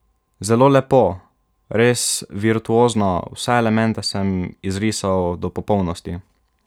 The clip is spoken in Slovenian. Zelo lepo, res virtuozno, vse elemente sem izrisal do popolnosti.